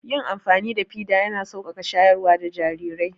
Yin amfani da fida ya na sauƙaƙa shayar da jarirai